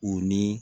U ni